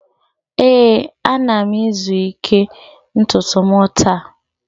ee, ana m izu ike ntutu m taa